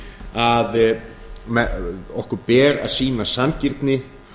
að okkur ber að sýna sanngirni